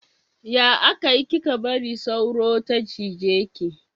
Ya aka yi kika bari sauro ta cije ki?